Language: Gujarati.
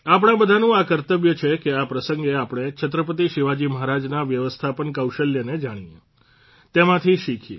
આપણા બધાનું આ કર્તવ્ય છે કે આ પ્રસંગે આપણે છત્રપતિ શિવાજી મહારાજના વ્યવસ્થાપન કૌશલ્યને જાણીએ તેમાંથી શીખીએ